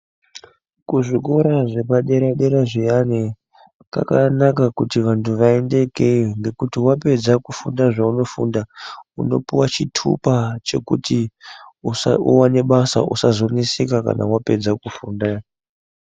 Kuzvikora zvepadera-dera zviyana kwakanaka kuti vantu vaende ikweyo ngekuti wapedza kufunda zveunofunda, unopuwa chitupa uwane basa usazoneseka kana wapedza kufunda.